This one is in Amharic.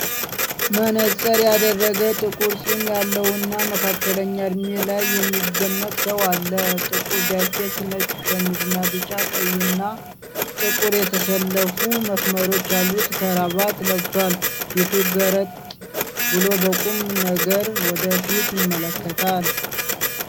መነጽር ያደረገ፣ ጥቁር ፂም ያለው እና መካከለኛ እድሜ ላይ የሚገመት ሰው አለ። ጥቁር ጃኬት፣ ነጭ ሸሚዝ እና ቢጫ፣ ቀይና ጥቁር የተሰለፉ መስመሮች ያሉት ክራቫት ለብሷል። ፊቱ ገርጥ ብሎ በቁም ነገር ወደ ፊት ይመለከታል።